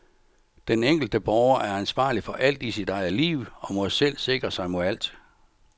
Den enkelte borger er ansvarlig for alt i sit eget liv og må selv sikre sig mod alt.